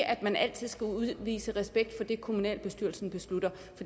at man altid skal udvise respekt for det kommunalbestyrelsen beslutter